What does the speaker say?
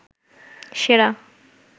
সেরা